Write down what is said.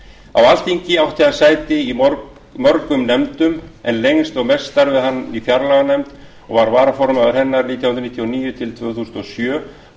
alþingi átti hann sæti í mörgum nefndum en lengst og mest starfaði hann í fjárlaganefnd var varaformaður hennar nítján hundruð níutíu og níu til tvö þúsund og sjö og